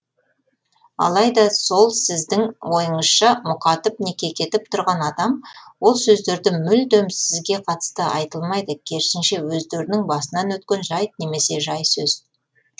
алайда сол сіздің ойыңызша мұқатып не кекетіп тұрған адам ол сөздерді мүлдем сізге қатысты айтылмайды керісінше өздерінің басынан өткен жайт немесе жай сөз